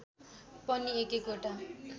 पनि एक एकवटा